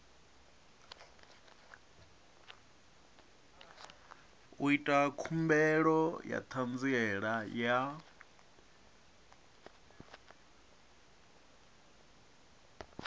ita khumbelo ya ṱhanziela ya